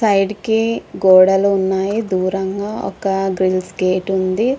Side కి గోడలు ఉన్నాయి. దూరంగా ఒక గ్రిల్లెస్ గేటు ఉంది.